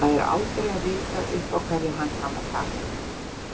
Það er aldrei að vita upp á hverju hann kann að taka.